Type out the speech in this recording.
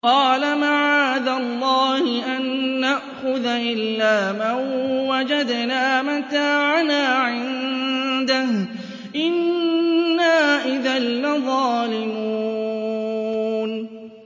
قَالَ مَعَاذَ اللَّهِ أَن نَّأْخُذَ إِلَّا مَن وَجَدْنَا مَتَاعَنَا عِندَهُ إِنَّا إِذًا لَّظَالِمُونَ